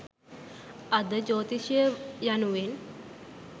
අද ජ්‍යෝතිෂය යනුවෙන්